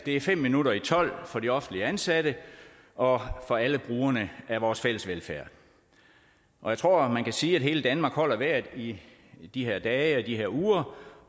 er fem minutter i tolv for de offentligt ansatte og for alle brugerne af vores fælles velfærd og jeg tror man kan sige at hele danmark holder vejret i de her dage og i de her uger